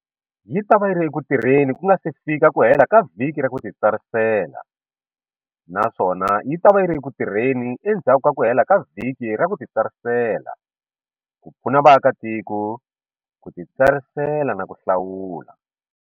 Yi ta va yi ri eku tirheni ku nga si fika ku hela ka vhiki ra ku titsarisela naswona yi ta va yi ri eku tirheni endzhaku ka ku hela ka vhiki ra ku titsarisela ku pfuna vaakatiko ku titsarisela na ku hlawula.